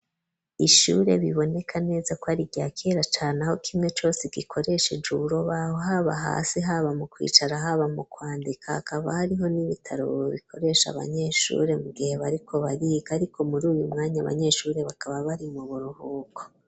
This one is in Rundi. Ishure biboneka neza kwari ryakera cane aho kimwe cose gikoresheje urubaho haba hasi haba mu kwicara haba mu kwandika hakaba hariho n'ibitaro bikoresha abanyeshure mu gihe bariko bariga ariko muruyu mwanya abanyeshure bakaba bari mu buruhuko.